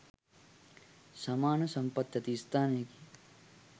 සමාන සම්පත් ඇති ස්ථානයකි.